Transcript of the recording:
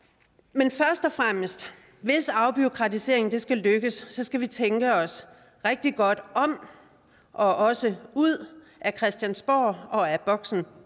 men hvis afbureaukratiseringen skal lykkes skal vi tænke os rigtig godt om og også ud af christiansborg og af boksen